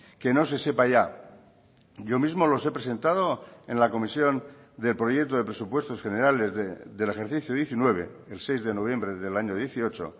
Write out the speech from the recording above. que no se sepa ya yo mismo los he presentado en la comisión del proyecto de presupuestos generales del ejercicio diecinueve el seis de noviembre del año dieciocho